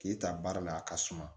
K'e ta baara la a ka suma